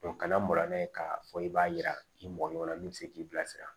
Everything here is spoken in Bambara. kana maga n'a ye k'a fɔ i b'a yira i mɔgɔ ɲɔgɔnna min bɛ se k'i bilasira